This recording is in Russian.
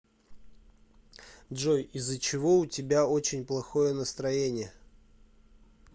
джой из за чего у тебя очень плохое настроение